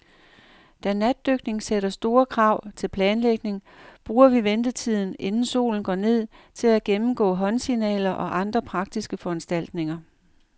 Da natdykning sætter store krav til planlægning, bruger vi ventetiden, inden solen går ned, til at gennemgå håndsignaler og andre praktiske foranstaltninger.